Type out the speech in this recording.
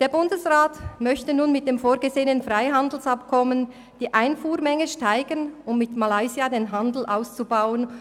Der Bundesrat möchte nun mit dem vorgesehenen Freihandelsabkommen die Einfuhrmenge steigern, um mit Malaysia den Handel auszubauen.